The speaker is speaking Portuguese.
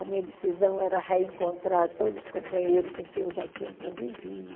A minha decisão era reencontrar todos os companheiros com quem eu já tinha convivido.